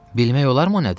Bilmək olarmı o nədir?